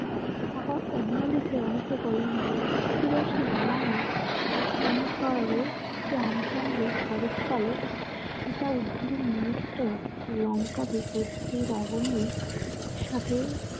আবার অন্যদিকে অনেকে বলেন যে, তিরাশি রামায়ণ অনুসারে রামচন্দ্র শরৎকালে সীতা উদ্ধারে নিমিত্তে লঙ্কা বিপত্তির আগুনেই সাথে